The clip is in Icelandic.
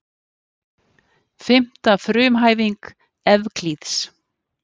Fimmta frumhæfing Evklíðs.